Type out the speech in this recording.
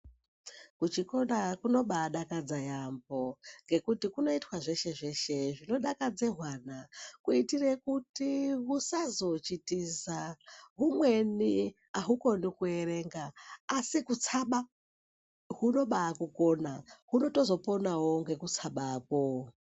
Kuchikora kunobanakidza yaamho ngekuti kunoitwa zveshe zveshe zvinodakadza hwana kuitire kuti husazochitiza. Humweni hahukoni kuverenga asi kutsama hunobakugona, hunotozoponawo nekutsamako.